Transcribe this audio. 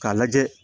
K'a lajɛ